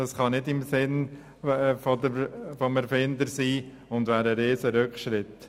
Dies kann nicht im Sinne des Erfinders sein und wäre ein riesiger Rückschritt.